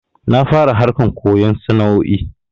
Na fara harkan koyon sana'o'i